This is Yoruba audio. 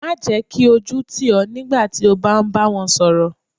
Má jẹ́ kí ojú tì ọ nígbà tí o bá ń bá wọn sọ̀rọ̀.